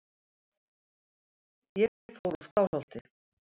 Ég fór úr Skálholti.